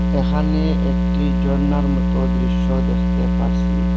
এখানে একটি জর্নার মতো দৃশ্য দেখতে পারসি।